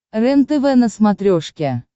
рентв на смотрешке